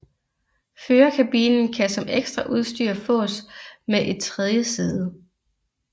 Førerkabinen kan som ekstraudstyr fås med et tredje sæde